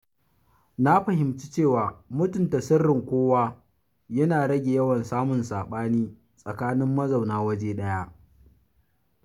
Na fahimci cewa mutunta sirrin kowa yana rage yawan samun saɓani tsakanin mazauna waje ɗaya.